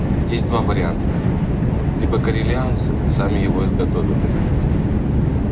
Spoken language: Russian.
есть два варианта либо корелианцы сами его изготовили